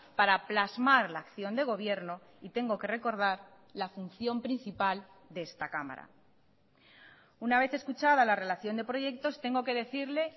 para plasmar la acción de gobierno y tengo que recordar la función principal de esta cámara una vez escuchada la relación de proyectos tengo que decirle